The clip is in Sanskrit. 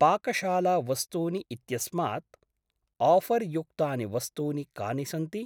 पाकशाला वस्तूनि इत्यस्मात् आफर्युक्तानि वस्तूनि कानि सन्ति?